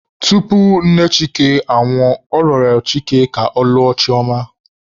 Tupu nne Chike anwụọ, ọ rịọrọ Chike ka ọ lụọ Chioma..